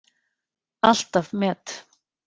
Alltaf met.